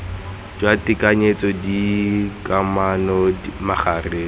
jwa tekanyetso d kamano magareng